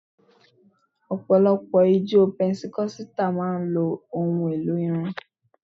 Ọ̀pọ̀lọpọ̀ ìjọ pẹntíkọ́sítà máa ń lò ohun elò orin